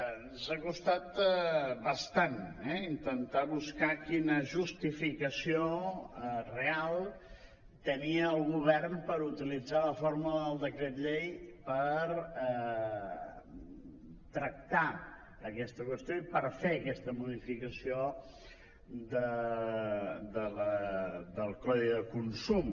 ens ha costat bastant eh intentar buscar quina justificació real tenia el govern per utilitzar la fórmula del decret llei per tractar aquesta qüestió i per fer aquesta modificació del codi de consum